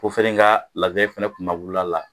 Ko fɛnɛ ka labɛn fɛnɛ kumawolo a la.